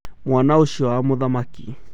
Mwana ũcio wa mũthamaki.